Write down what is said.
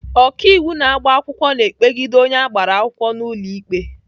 Ọkaiwu na-agba akwụkwọ na-ekpegide onye agbara akwụkwọ n'ụlọ ikpe.